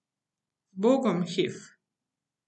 Zbogom, Hef ...